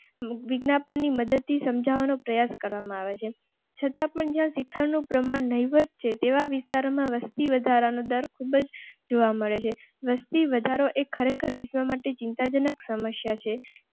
વિદ્યાપતિ મડ સમજાવવા નો પ્રયાસ કરવામાં આવે છે. છતાં પણ જ્યાં શિક્ષણ નું પ્રમાણ નહીવત છે તેવા વિસ્તારો માં વસતી વધારા નો દર ખૂબ જ જોવા મળે છે. વસ્તી વધારો એક ખરેખર વિશ્વ માટે ચિંતાજનક સમસ્યા છે